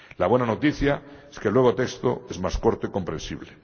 La buena noticia es que el nuevo texto es más corto y comprensible.